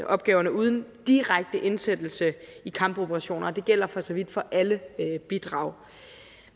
opgaverne uden direkte indsættelse i kampoperationer og det gælder for så vidt for alle bidrag